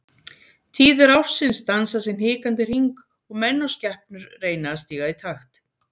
Tíðir ársins dansa sinn hikandi hring og menn og skepnur reyna að stíga í takt.